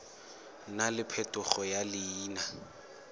nna le phetogo ya leina